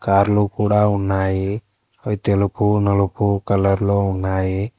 కార్లు కూడా ఉన్నాయి అవి తెలుపు నలుపు కలర్ లో ఉన్నాయి.